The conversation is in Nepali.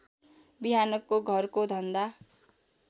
बिहानको घरको धन्दा